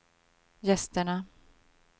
gästerna